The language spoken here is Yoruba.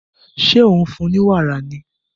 Ṣé ò ń fún un ní wàrà ni?